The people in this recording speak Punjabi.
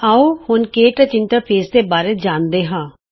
ਆਉ ਹੁਣ ਕੇ ਟੱਚ ਇੰਟਰਫੇਸ ਦੇ ਬਾਰੇ ਜਾਨਦੇਂ ਹਾਂ